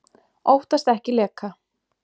Óttast ekki leka